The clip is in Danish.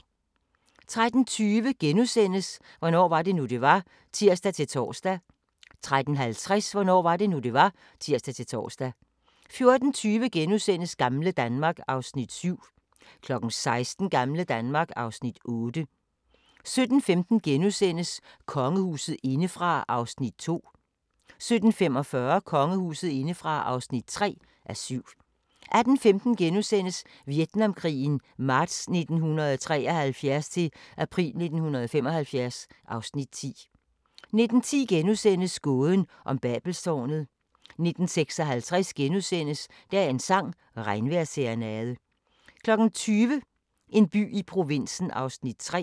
13:20: Hvornår var det nu, det var? *(tir-tor) 13:50: Hvornår var det nu, det var? (tir-tor) 14:20: Gamle Danmark (Afs. 7)* 16:00: Gamle Danmark (Afs. 8) 17:15: Kongehuset indefra (2:7)* 17:45: Kongehuset indefra (3:7) 18:15: Vietnamkrigen marts 1973-april 1975 (Afs. 10)* 19:10: Gåden om Babelstårnet * 19:56: Dagens sang: Regnvejrsserenade * 20:00: En by i provinsen (3:17)